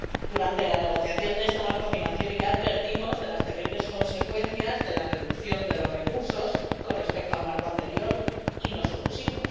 Durante la negociación de este marco financiero, ya advertimos de las terribles consecuencias de la reducción de los recursos con respecto al marco anterior, y nos opusimos.